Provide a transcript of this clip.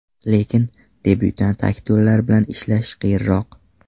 Lekin, debyutant aktyorlar bilan ishlash qiyinroq.